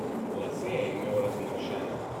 Lase je imel razmršene.